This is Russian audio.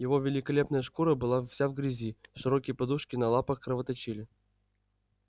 его великолепная шкура была вся в грязи широкие подушки на лапах кровоточили